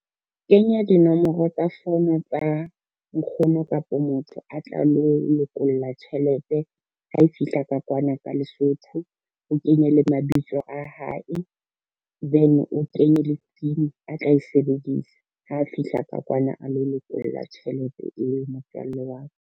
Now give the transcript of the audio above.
Kenya dinomoro tsa fono tsa nkgono kapo motho a tla lo lokolla tjhelete ha e fihla ka kwana ka Lesotho. O kenye le mabitso a hae, then o kenye le PIN a tla e sebedisa ha fihla ka kwana, a lo lokolla tjhelete eo motswalle wa ka.